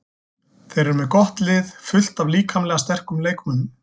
Þeir eru með gott lið, fullt af líkamlega sterkum leikmönnum.